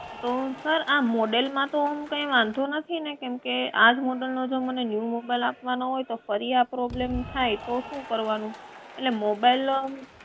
અં sir આ મોડેલમાં તો કઈ વાંધો નથી ને કેમકે આજ મોડેલનો મને ન્યુ mobile આપવાનો હોઈ તો ફરી આ problem થાય તો શું કરવાનું?